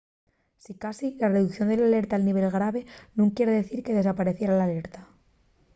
sicasí la reducción de l’alerta al nivel grave nun quier dicir que desapaeciera l’alerta.